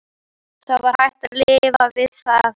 Það var hægt að lifa við það.